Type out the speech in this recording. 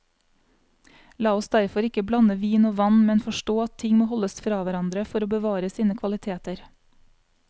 La oss derfor ikke blande vin og vann, men forstå at ting må holdes fra hverandre for å bevare sine kvaliteter.